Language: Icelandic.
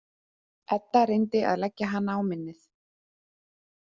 Edda reyndi að leggja hana á minnið.